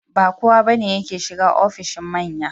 Ba kowa ba ne yake shiga ofishin manya.